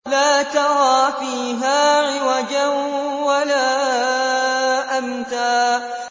لَّا تَرَىٰ فِيهَا عِوَجًا وَلَا أَمْتًا